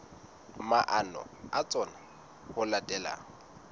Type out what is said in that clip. maano a tsona ho latela